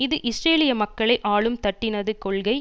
அது இஸ்ரேலிய மக்களை ஆளும் தட்டினது கொள்கை